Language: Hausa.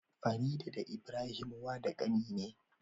Farida da Ibrahim, Dan wa da kanine